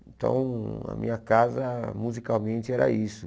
Então, a minha casa, musicalmente, era isso.